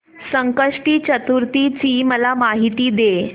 संकष्टी चतुर्थी ची मला माहिती दे